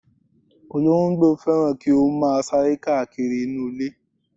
Olóńgbò fẹ́ràn kí ó máa sáré káàkiri nínú ilé.